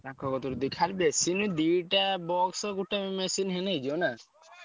ତାଙ୍କ କତିରୁ ~ଦେ ଖାଲି ଦିଟା box ଗୋଟେ machine ହେଲେ ହେଇଯିବ ନା?